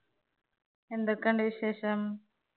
എന്തൊക്കെയുണ്ട് വിശേഷം?